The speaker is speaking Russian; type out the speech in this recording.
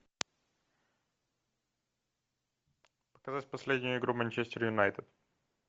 показать последнюю игру манчестер юнайтед